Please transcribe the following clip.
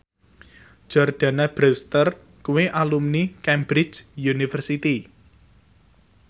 Jordana Brewster kuwi alumni Cambridge University